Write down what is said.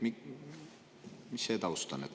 Mis see taust on?